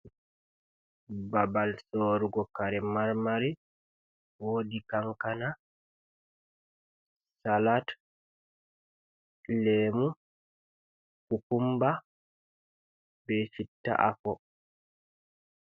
Babal sorugo kare marmari. Wodi kankana, salad, lemu, kukumba be citta afo.